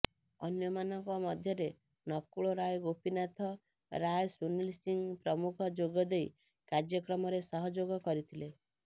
ଅନ୍ୟମାନଙ୍କ ମଧ୍ୟରେ ନକୁଳ ରାୟ ଗୋପୀନାଥ ରାୟ ସୁନିଲ ସିଂ ପ୍ରମୁଖ ଯୋଗଦେଇ କାର୍ଯ୍ୟକ୍ରମରେ ସହଯୋଗ କରିଥିଲେ